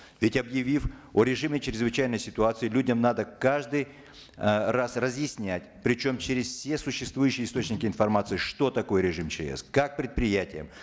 ведь объявив о режиме чрезвычайной ситуации людям надо каждый э раз разъяснять причем через все существующие источники информации что такое режим чс как предприятиям